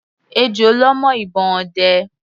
Ejò lọ́ mọ́ ìbọn ọdẹ.